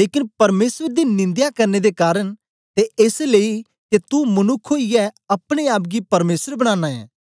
लेकन परमेसर दी निंदया करने दे कारन ते एस लेई के तू मनुक्ख ओईयै अपने आप गी परमेसर बनाना ऐं